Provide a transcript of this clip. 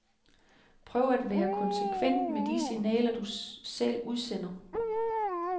Prøv at være konsekvent med de signaler, du selv udsender.